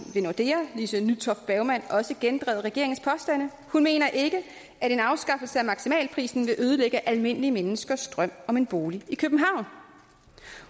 i nordea lise nytoft bergmann også gendrevet regeringens påstande hun mener ikke at en afskaffelse af maksimalprisen vil ødelægge almindelige menneskers drøm om en bolig i københavn